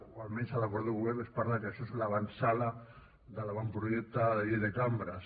o almenys a l’acord de govern es parla de que això és l’avantsala de l’avantprojecte de llei de cambres